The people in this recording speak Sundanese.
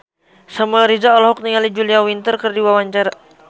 Samuel Rizal olohok ningali Julia Winter keur diwawancara